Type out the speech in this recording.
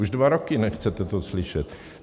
Už dva roky nechcete to slyšet.